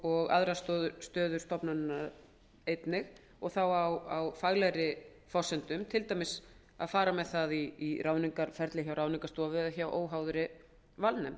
og aðrar stöður stofnunarinnar einnig og þá á faglegri forsendum til dæmis að fara með það í ráðningarferli hjá ráðningarstofu eða hjá óháðri valnefnd